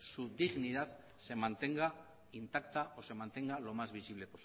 su dignidad se mantenga intacta o se mantenga lo más visible